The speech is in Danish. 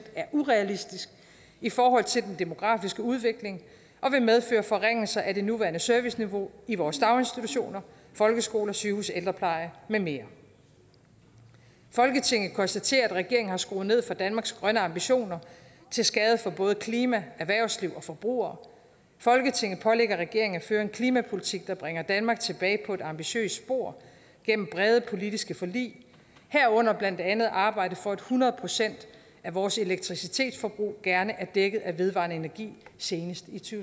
er urealistisk i forhold til den demografiske udvikling og vil medføre forringelser af det nuværende serviceniveau i vores daginstitutioner folkeskoler sygehuse ældrepleje med mere folketinget konstaterer at regeringen har skruet ned for danmarks grønne ambitioner til skade for både klima erhvervsliv og forbrugere folketinget pålægger regeringen at føre en klimapolitik der bringer danmark tilbage på et ambitiøst spor gennem brede politiske forlig herunder blandt andet arbejde for at hundrede procent af vores elektricitetsforbrug gerne er dækket af vedvarende energi senest i to